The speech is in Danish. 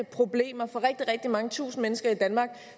problemer for rigtig rigtig mange tusinde mennesker i danmark